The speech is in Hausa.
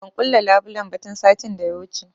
Ban kulle labulen ba tun satin da ya wuce